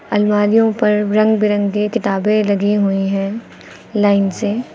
अलमारियों पर रंग बिरंगे किताबें लगी हुई हैं लाइन से।